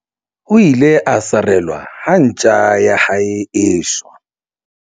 o ile a sarelwa ha ntja ya hae e shwa